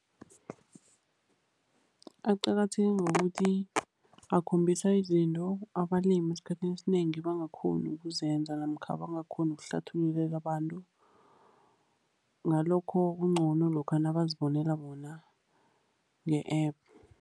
Aqakatheke ngokuthi akhombisa izinto abalimi esikhathini esinengi abangakghoni ukuzenza namkha abangakghoni ukuhlathululela abantu. Ngalokho kuncono lokha nabazibonela bona nge-App.